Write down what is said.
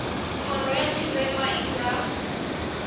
khoro ya tshirema i nga